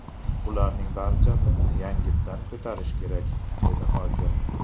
Bularning barchasini yangitdan ko‘tarish kerak”, dedi hokim.